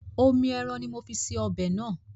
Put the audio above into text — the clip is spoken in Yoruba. Omi ẹran ní mo fi ṣe ọbẹ̀ náà.